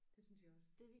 Det synes jeg også